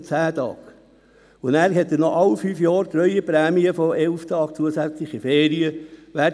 Alle fünf Jahre erhält dieser Mitarbeiter zudem eine Treueprämie von 11 zusätzlichen Ferientagen.